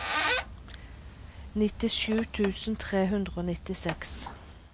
nittisju tusen tre hundre og nittiseks